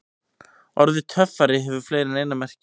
Orðið töffari hefur fleiri en eina merkingu.